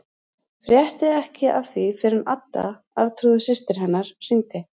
Frétti ekki af því fyrr en Adda, Arnþrúður systir hennar, hringdi.